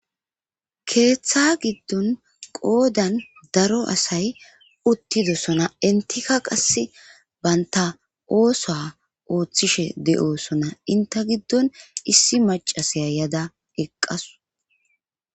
keeththa giddon qoodan daro asay uttidosona intika qasse baynta oosoa ooththishe de7osona inte giddon issi macasaya yada eqqasu